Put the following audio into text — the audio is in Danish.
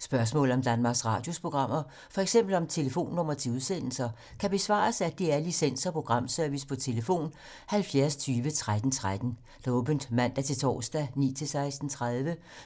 Spørgsmål om Danmarks Radios programmer, f.eks. om telefonnumre til udsendelser, kan besvares af DR Licens- og Programservice: tlf. 70 20 13 13, åbent mandag-torsdag 9.00-16.30,